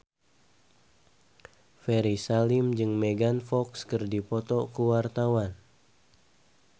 Ferry Salim jeung Megan Fox keur dipoto ku wartawan